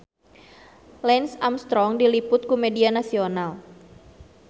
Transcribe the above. Lance Armstrong diliput ku media nasional